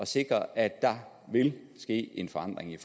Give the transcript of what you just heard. sikre at der vil ske en forandring i